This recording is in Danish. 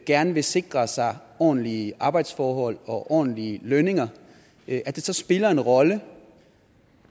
gerne vil sikre sig ordentlige arbejdsforhold og ordentlige lønninger så spiller det en rolle